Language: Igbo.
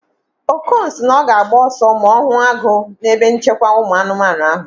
Okon si na ọ ga-agba ọsọ ma ọ hụ agụ na ebe nchekwa ụmụ anụmanụ ahụ